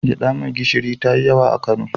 Gyaɗa mai gishiri ta yi yawa a Kano.